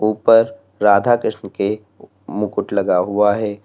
ऊपर राधा कृष्ण के मुकुट लगा हुआ है।